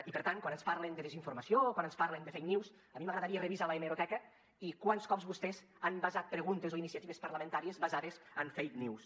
i per tant quan ens parlen de desinformació o quan ens parlen de fake news a mi m’agradaria revisar l’hemeroteca i quants cops vostès han basat preguntes o iniciatives parlamentàries basades en fake news